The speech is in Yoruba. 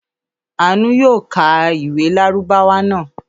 Àánú yóò ka ìwé Lárúbáwá náà.